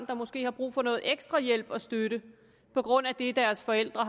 der måske har brug for noget ekstra hjælp og støtte på grund af det deres forældre